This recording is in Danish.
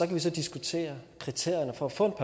vi så diskutere kriterierne for at få